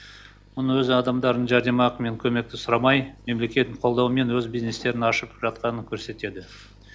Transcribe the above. мұның өзі адамдардың жәрдемақы мен көмекті сұрамай мемлекеттің қолдауымен өз бизнестерін ашып жатқанын көрсетеді